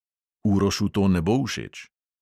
Urošu to ne bo všeč.